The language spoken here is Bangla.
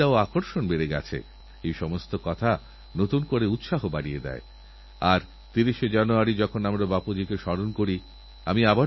আর আমি যে অটল ইনকিউবেশনেরসেন্টারএর কথা বলছি তাকে দশ কোটি টাকার এক বড় আর্থিক অনুদান দেওয়ার লক্ষ্যেভাবনাচিন্তা করছে ভারত সরকার